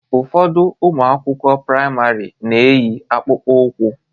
Ụfọdụ ụmụ akwụkwọ praịmarị na-eyi akpụkpọ ụkwụ